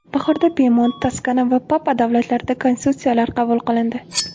Bahorda Pemont, Toskana va Papa davlatlarida konstitutsiyalar qabul qilindi.